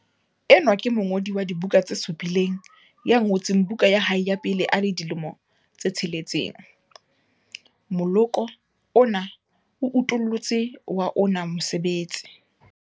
Enwa ke mongodi wa dibuka tse supileng ya ngotseng buka ya hae ya pele a le dilemo di 6. Moloko ona o utollotse wa ona mosebetsi.